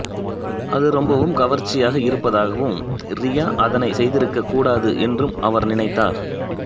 அது ரொம்பவும் கவர்ச்சியாக இருப்பதாகவும் ரியா அதனை செய்திருக்கக் கூடாது என்றும் அவர் நினைத்தார்